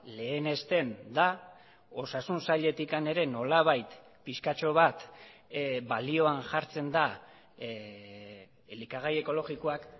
lehenesten da osasun sailetik ere nolabait pixkatxo bat balioan jartzen da elikagai ekologikoak